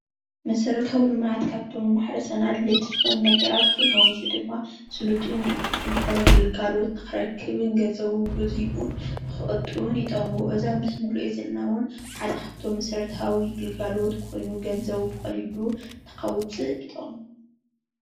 መሰረታዊ ልምዓት ካብቶም ማሕብረሰብና ኣድለይቲ ዝኮኑ ነገራት ኮይኑ እዙይ ድማ ስሉጥን ቅልጥፉን ዝኮነ ግልጋሎት ንክረክብ ገንዘቡን ግዚኡን ክቅጡብን ይጠቅሞ። እዚ ኣብዚ ምስሊ እንሪኦ ዘለና ሓደ ካብቶም መሰረታዊ ግልጋሎት ኮይኑ ገንዘቡ ብቀሊሉ ንከውፅእ ይጠቅሞ፡፡